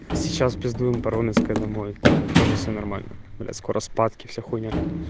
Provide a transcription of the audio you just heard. сейчас пиздуем по роменской домой тоже все нормально блять скоро спатки вся хуйня